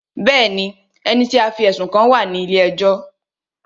Bẹ́ẹ̀ni, ẹni tí a fí ẹ̀sùn kàn wá à ní ilé ẹjọ́